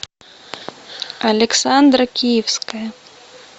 александра киевская